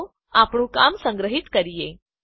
ચાલો આપણું કામ સંગ્રહીત કરીએ